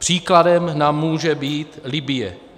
Příkladem nám může být Libye.